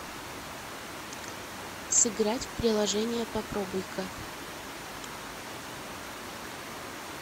сыграть в приложение попробуйка